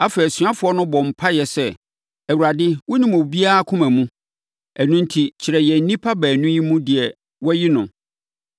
Afei, asuafoɔ no bɔɔ mpaeɛ sɛ, “Awurade, wonim obiara akoma mu. Ɛno enti, kyerɛ yɛn nnipa baanu yi mu deɛ woayi no,